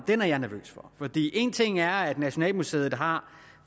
er jeg nervøs for for en ting er at nationalmuseet har